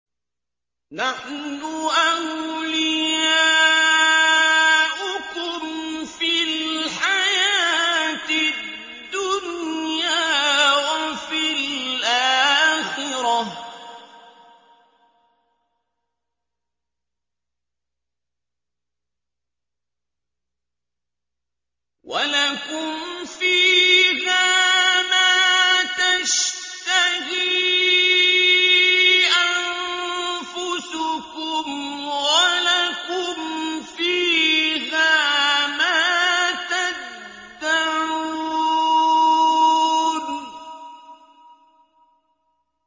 نَحْنُ أَوْلِيَاؤُكُمْ فِي الْحَيَاةِ الدُّنْيَا وَفِي الْآخِرَةِ ۖ وَلَكُمْ فِيهَا مَا تَشْتَهِي أَنفُسُكُمْ وَلَكُمْ فِيهَا مَا تَدَّعُونَ